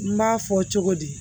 N b'a fɔ cogo di